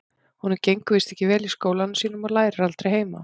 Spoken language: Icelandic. Honum gengur víst ekki vel í skólanum sínum og lærir aldrei heima.